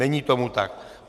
Není tomu tak.